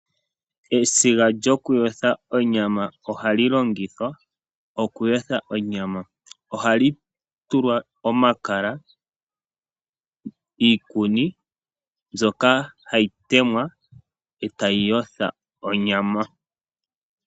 Esiga lyoku yotha onyama ohali longithwa okuyotha onyama, oha li tulwa omakala niikuni mbyoka hayi temwa e tayi yotha onyama.